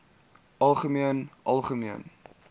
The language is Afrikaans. algemeen algemeen